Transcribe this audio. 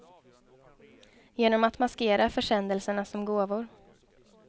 Genom att maskera försändelserna som gåvor.